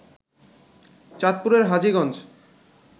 চাঁদপুরের হাজীগঞ্জ